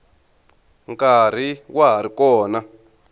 nkarhi wa ha ri kona